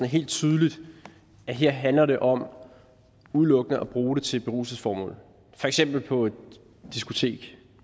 helt tydeligt at her handler det om udelukkende at bruge det til beruselsesformål for eksempel på et diskotek